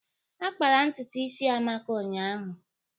A kpara ntutu isi Amaka ụnyaahụ.